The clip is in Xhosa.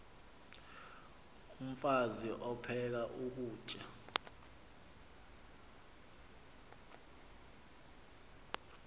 umfaz aphek ukutya